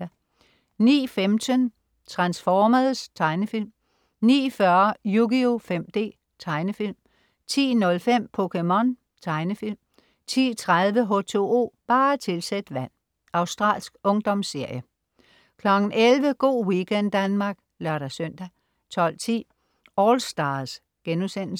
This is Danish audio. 09.15 Transformers. Tegnefilm 09.40 Yugioh 5D. Tegnefilm 10.05 POKéMON. Tegnefilm 10.30 H2O, bare tilsæt vand. Australsk ungdomsserie 11.00 Go' weekend Danmark (lør-søn) 12.10 AllStars*